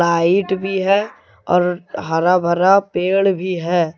Light भी है और हरा भरा पेड़ भी है।